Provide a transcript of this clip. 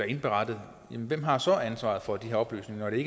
indberettet hvem har så ansvaret for de her oplysninger det